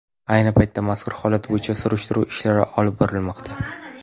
Ayni paytda mazkur holat bo‘yicha surishtiruv ishlari olib borilmoqda.